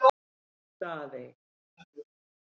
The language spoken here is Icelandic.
Daðey